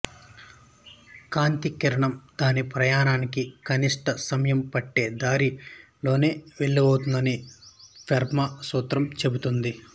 కాంతి కిరణం దాని ప్రయాణానికి కనిష్ఠ సమయం పట్టే దారి లోనే వెళుతుందని ఫెర్మా సూత్రం చెబుతుంది